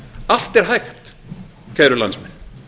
allt er hægt kæru landsmenn